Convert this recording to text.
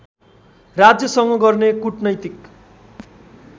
राज्यसँग गर्ने कुटनैतिक